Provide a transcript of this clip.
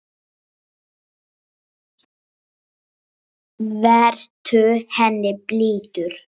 Vertu henni blíður.